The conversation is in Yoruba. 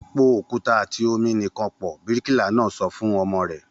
Po òkúta àti omi nìkan pọ̀! Bíríkìlà náà sọ fún omi rẹ̀